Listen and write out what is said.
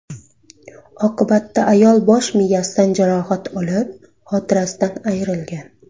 Oqibatda ayol bosh miyasidan jarohat olib, xotirasidan ayrilgan.